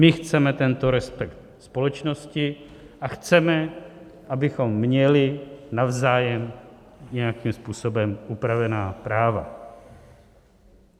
My chceme tento respekt společnosti a chceme, abychom měli navzájem nějakým způsobem upravená práva.